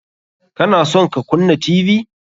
Ka na son ka kunna Tv?